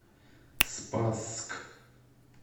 спасск